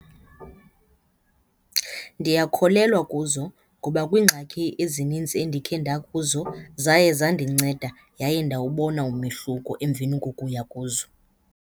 Ndiyakholelwa kuzo ngoba kwiingxaki ezinintsi endikhe ndakuzo zaye zandinceda yaye ndawubona umehluko emveni kokuya kuzo.